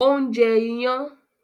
Òun jẹ iyán